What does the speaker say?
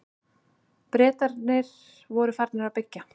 Bretarnir voru farnir að byggja.